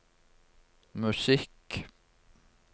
musikk